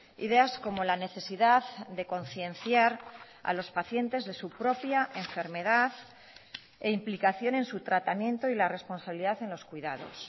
ideas como la necesidad de concienciar a los pacientes de su propia enfermedad e implicación en su tratamiento y la responsabilidad en los cuidados